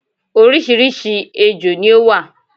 orísirísi ejò ni ó wà